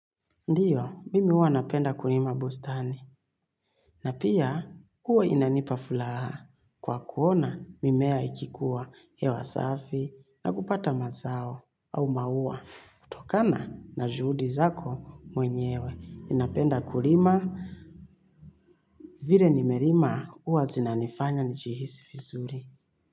Ndioo, mimi huwa ninapenda kulima bustani. Na pia, huwa inanipa furaha. Kwa kuona, mimea ikikua, hewa safi na kupata mazao au maua. Kutokana na juhudi zako mwenyewe. Ninapenda kulima, vile nimelima huwa zinanifanya nijihisi vizuri.